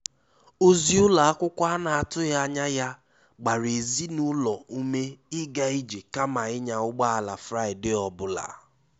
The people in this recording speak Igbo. Ozi ụlọ akwụkwọ a na-atụghị anya ya gbara ezinụlọ ume ịga ije kama ịnya ụgbọ ala Fraịde ọ bụla.